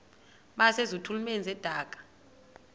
base zitulmeni zedaka